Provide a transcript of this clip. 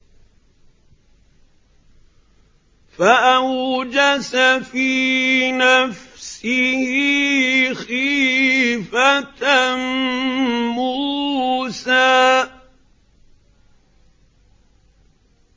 فَأَوْجَسَ فِي نَفْسِهِ خِيفَةً مُّوسَىٰ